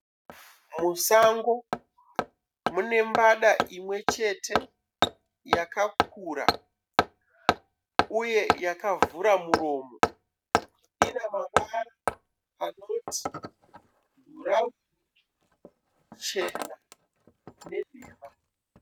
Musango mune mbada imwe chete yakakura uye yakavhura muromo. Ine mavara anoti bhurauni , chena nenhema